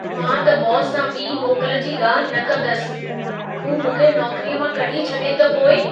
मां त बॉस सां ॿिई मोकल जी ॻाल्हि न कंदसि। हू मूंखे नौकिरीअ मां कढी छॾे त पोइ?